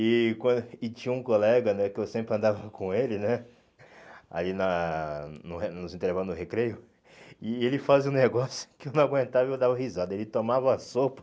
E quan e tinha um colega né que eu sempre andava com ele né, aí na no re nos intervalos no recreio, e ele fazia um negócio que eu não aguentava, eu dava risada, ele tomava a sopa.